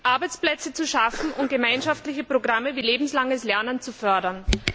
Arbeitsplätze zu schaffen, um gemeinschaftliche Programme wie lebenslanges Lernen zu fördern.